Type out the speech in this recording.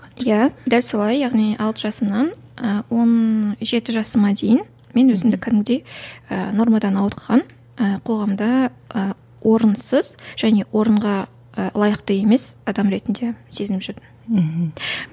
иә дәл солай яғни алты жасымнан і он жеті жасыма дейін мен өзімді кәдімгідей ііі нормадан ауытқыған ііі қоғамда і орынсыз және орынға і лайықты емес адам ретінде сезініп жүрдім мхм